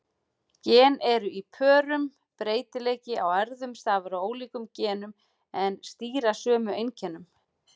Gen eru í pörum: Breytileiki í erfðum stafar af ólíkum genum sem stýra sömu einkennum.